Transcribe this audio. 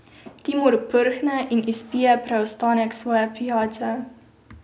Timur prhne in izpije preostanek svoje pijače.